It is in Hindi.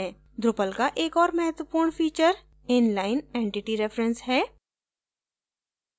drupal का एक ओर महत्वपूर्ण feature inline entity reference है